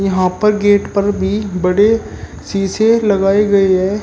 यहां पर गेट पर भी बड़े सीसे लगाए गए हैं।